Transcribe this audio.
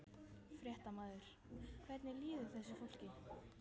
Fréttamaður: Hvernig líður þessu fólki?